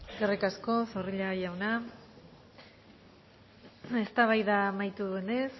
eskerrik asko zorrilla jauna eztabaida amaitu denez